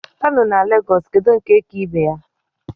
Kano na Lagos kedu nke ka ibe ya?